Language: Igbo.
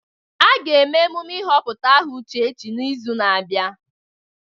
A ga-eme emume ịhọpụta aha Uchechi n'izu na-abịa.